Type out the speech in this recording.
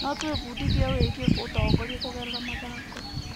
No twĩbundithie wĩgiĩ ũtongoria kũgerera mathako.